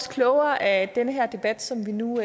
klogere af den her debat som vi nu